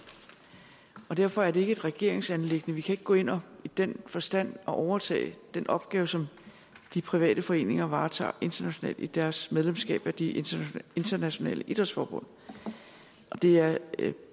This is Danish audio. og derfor er det ikke et regeringsanliggende vi kan ikke gå ind og i den forstand overtage den opgave som de private foreninger varetager internationalt via deres medlemskab af de internationale idrætsforbund det er